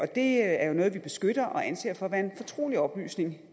det er jo noget vi beskytter og anser for at være en fortrolig oplysning i